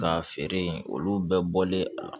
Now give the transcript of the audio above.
Ka feere olu bɛɛ bɔlen a la